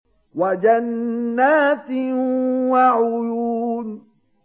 وَجَنَّاتٍ وَعُيُونٍ